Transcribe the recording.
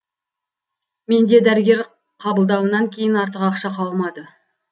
менде дәрігер қабылдауынан кейін артық ақша қалмады